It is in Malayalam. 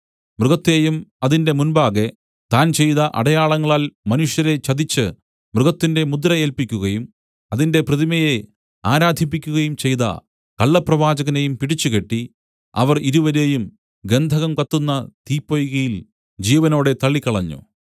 മൃഗത്തെയും അതിന്റെ മുമ്പാകെ താൻ ചെയ്ത അടയാളങ്ങളാൽ മനുഷ്യരെ ചതിച്ച് മൃഗത്തിന്റെ മുദ്ര ഏല്പിക്കുകയും അതിന്റെ പ്രതിമയെ ആരാധിപ്പിക്കുകയും ചെയ്ത കള്ളപ്രവാചകനെയും പിടിച്ച് കെട്ടി അവർ ഇരുവരെയും ഗന്ധകം കത്തുന്ന തീപ്പൊയ്കയിൽ ജീവനോടെ തള്ളിക്കളഞ്ഞു